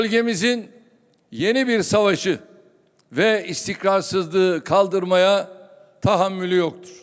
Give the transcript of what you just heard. Bölgəmizin yeni bir savaşı və istikrarsızlığı kaldırmaya təhammülü yoxdur.